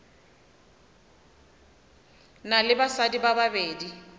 na le basadi ba babedi